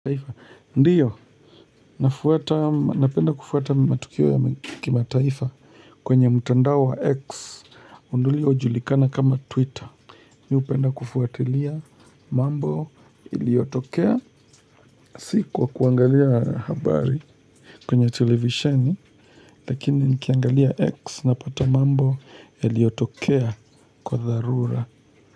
Ndiyo, nafuata, napenda kufuata matukio ya kimataifa kwenye mutandao wa X uliojulikana kama Twitter mi hupenda kufuwatilia mambo iliyotokea si kwa kwangalia habari kwenye televisioni lakini nikiangalia X napata mambo yaliyotokea kwa dharura.